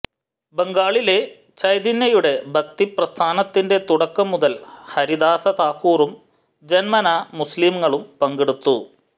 ബംഗാളിലെ ചൈതന്യയുടെ ഭക്തി പ്രസ്ഥാനത്തിന്റെ തുടക്കം മുതൽ ഹരിദാസ താക്കൂറും ജന്മനാ മുസ്ലീങ്ങളും പങ്കെടുത്തു